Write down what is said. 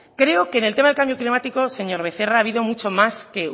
creo que en el tema del cambio climático señor becerra ha habido mucho más que